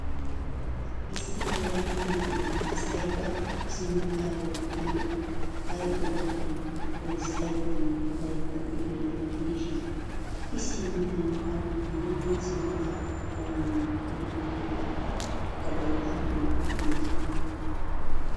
Issi yelaga na'iya asay ba sinttaa loyttanawu ay go'ettanaakko erissaydanne odaydda de'iyaro gidishiin I sinttankka dumma dumma sinttaa puulayanawu go'iyabata gatee al'uwan oyttenna.